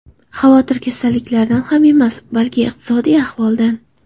Xavotir kasallikdan ham emas, balki iqtisodiy ahvoldan.